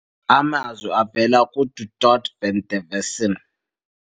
Amazwi avela kuDu Toit van der Westhuizen.